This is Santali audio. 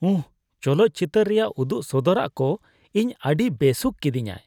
ᱩᱦᱦᱦ ! ᱪᱚᱞᱚᱛ ᱪᱤᱛᱟᱹᱨ ᱨᱮᱭᱟᱜ ᱩᱫᱩᱜ ᱥᱚᱫᱚᱨᱟᱜ ᱠᱚ ᱤᱧ ᱟᱹᱰᱤ ᱵᱮᱥᱩᱠᱷ ᱠᱤᱫᱤᱧᱟᱭ ᱾